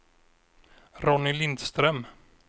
Ronny Lindström